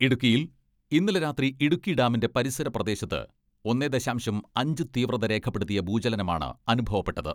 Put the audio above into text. ഇടുക്കിയിൽ ഇന്നലെ രാത്രി ഇടുക്കി ഡാമിന്റെ പരിസര പ്രദേശത്ത് ഒന്നേ ദശാംശം അഞ്ച് തീവ്രത രേഖപ്പെടുത്തിയ ഭൂചലനമാണ് അനുഭവപ്പെട്ടത്.